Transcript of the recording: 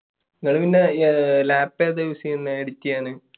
നിങ്ങൾ പിന്നെ lap ഏതാണ് use ചെയ്യുന്നത് edit ചെയ്യാൻ?